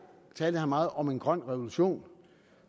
meget om en grøn revolution